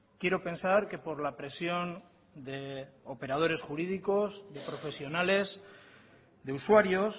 quiero pensar que por la presión de operadores jurídicos de profesionales de usuarios